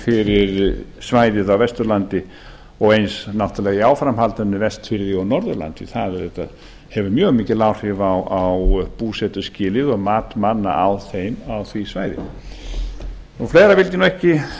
fyrir svæðið á vesturlandi og eins náttúrlega í áframhaldinu á vestfjörðum og norðurlandi það hefur auðvitað mjög mikil áhrif á búsetuskilyrði og mat manna á því svæði fleira vildi ég nú ekki